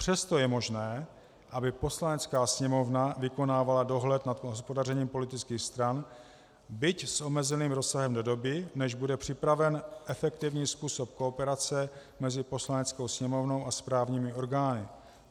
Přesto je možné, aby Poslanecká sněmovna vykonávala dohled nad hospodařením politických stran, byť s omezeným rozsahem, do doby, než bude připraven efektivní způsob kooperace mezi Poslaneckou sněmovnou a správními orgány.